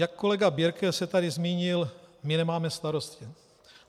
Jak kolega Birke se tady zmínil, my nemáme starosty.